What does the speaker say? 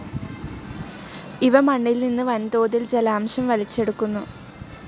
ഇവ മണ്ണിൽ നിന്ന് വൻതോതിൽ ജലാംശം വലിച്ചെടുക്കുന്നു.